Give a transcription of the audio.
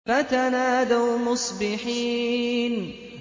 فَتَنَادَوْا مُصْبِحِينَ